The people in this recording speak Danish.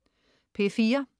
P4: